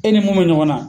E ni mun be ɲɔgɔn na